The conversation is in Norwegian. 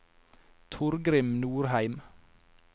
Torgrim Norheim